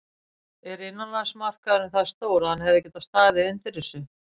Er innanlandsmarkaðurinn það stór að hann hefði getað staðið undir þessu?